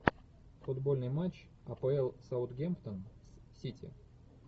футбольный матч апл саутгемптон с сити